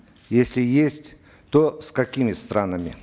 если есть то с какими странами